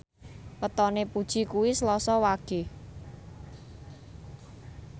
wetone Puji kuwi Selasa Wage